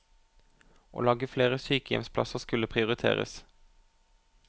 Å lage flere sykehjemsplasser skulle prioriteres.